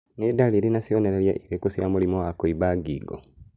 Nĩ ndariri na cionereria irĩkũ cia mũrimũ wa kũimba ngingo